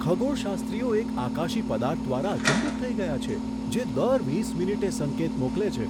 ખગોળશાસ્ત્રીઓ એક આકાશી પદાર્થ દ્વારા અચંબિત થઈ ગયા છે, જે દર વીસ મિનિટે સંકેત મોકલે છે.